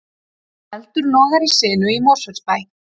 Eldur logar í sinu í Mosfellsbæ